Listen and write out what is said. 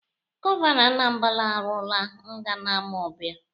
Gọvanọ Anambala arụọla nga na Amọbia.